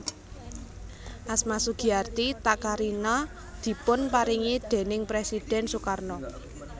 Asma Sugiarti Takarina dipun paringi déning Presidhèn Sukarno